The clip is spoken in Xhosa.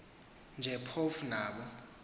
nje phofu nabo